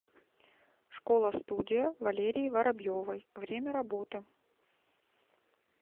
школа студия валерии воробьевой время работы